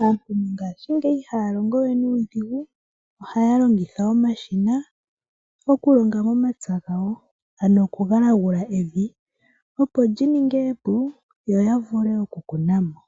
Aantu mongashingeyi ihaya longo we nuudhigu, ohaya longitha omashina okulonga nomapya gawo, ano oku galagula evi opo lyi ninge epu, yo ya vule oku kuna mo